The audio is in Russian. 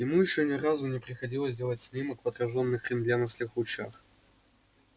ему ещё ни разу не приходилось делать снимок в отражённых рентгеновских лучах